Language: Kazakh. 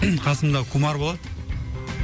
қасымда кумар болады